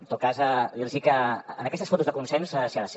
en tot cas dir los que en aquestes fotos de consens s’hi ha de ser